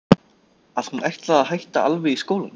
Að hún ætlaði að hætta alveg í skólanum.